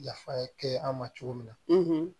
Yafa kɛ an ma cogo min na